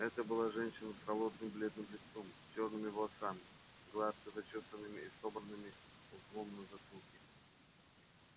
это была женщина с холодным бледным лицом чёрными волосами гладко зачёсанными и собранными узлом на затылке